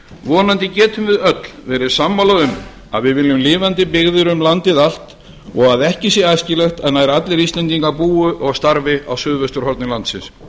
vonandi getum við öll verið sammála um að við viljum lifandi byggðir um landið allt og að ekki sé æskilegt að nær allir íslendingar búi og starfi á suðvesturhorni landsins